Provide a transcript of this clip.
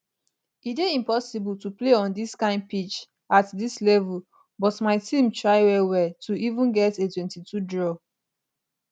e dey impossible to play on dis kind pitch at dis level but my team try well well to even get a 22 draw